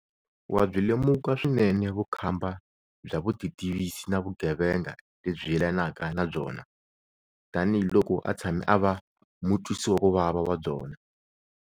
Wa byi lemuka swinene vukhamba bya vutitivisi na vugeve nga lebyi yelanaka na byona, tanihiloko a tshame a va mutwisiwakuvava wa byona.